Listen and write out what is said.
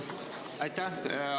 Jah.